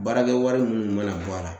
Baarakɛ wari mun mana bɔ a la